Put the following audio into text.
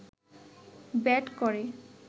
bat করে